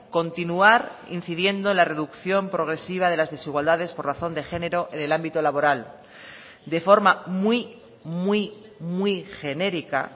continuar incidiendo la reducción progresiva de las desigualdades por razón de género en el ámbito laboral de forma muy muy muy genérica